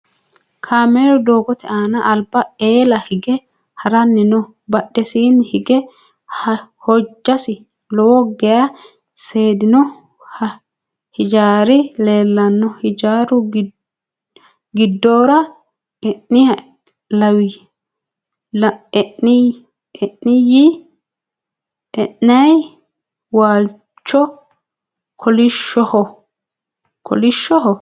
Kaamelu doogote aana alba eela hige haranni no. Badhesiinni hige hojjasi lowo geya seedino hijaari leellano. Hijaaru giddora e'nayi waalchino kolishoho?